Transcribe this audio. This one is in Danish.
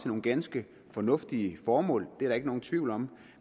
nogle ganske fornuftige formål det er der ikke nogen tvivl om